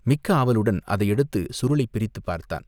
மிக்க ஆவலுடன் அதை எடுத்துச் சுருளைப் பிரித்துப் பார்த்தான்.